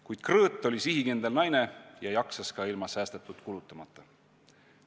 Kuid Krõõt oli sihikindel naine ja jaksas ka ilma säästetut kulutumata.